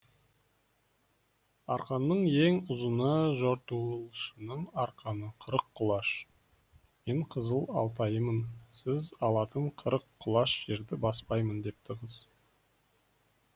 арқанның ең ұзыны жортуылшының арқаны қырық құлаш мен қызыл алтайымын сіз алатын қырық құлаш жерді баспаймын депті қыз